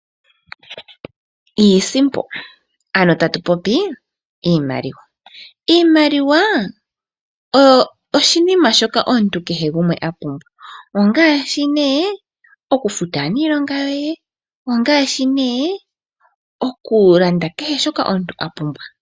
Iisimpo ano tatu popi iimaliwa. Iimaliwa oshinima shoka omuntu kehe gumwe a pumbwa ongaashi okufuta aaniilonga yoye nenge okulanda kehe shoka omuntu a pumbwa.